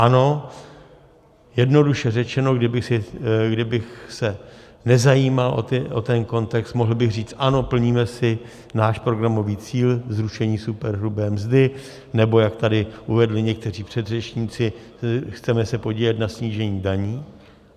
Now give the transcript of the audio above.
Ano, jednoduše řečeno, kdybych se nezajímal o ten kontext, mohl bych říct ano, plníme si náš programový cíl zrušení superhrubé mzdy, nebo jak tady uvedli někteří předřečníci, chceme se podílet na snížení daní.